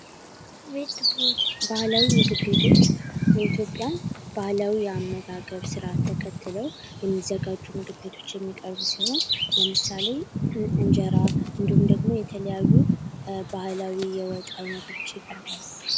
ባህላዊ ምግብ ቤቶች የኢትዮጵያን ባህላዊ የአመጋገብ ስርዓት ተከትለው የሚዘጋጁ ምግብ ቤቶች የሚቀርብ ሲሆን ለምሳሌ እንጀራ እንዲሁም ደግሞ የተለያዩ የወጥ አይነቶች ይቀርባሉ።